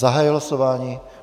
Zahajuji hlasování.